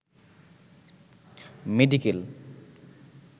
medical